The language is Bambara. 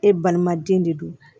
E balimaden de don